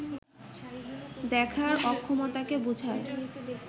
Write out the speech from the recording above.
দেখার অক্ষমতাকে বুঝায়